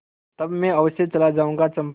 तब मैं अवश्य चला जाऊँगा चंपा